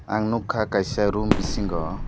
ang nukha kaisa room bisingo.